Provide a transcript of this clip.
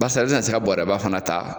Barisa i tɛna se ka bɔrɛba fana ta